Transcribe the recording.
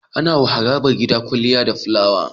Anawa harabar gida kwaliya da filawa